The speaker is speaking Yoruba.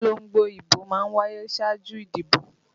Ìpolongo ìbò má ń wáyé ṣáájú ìdìbò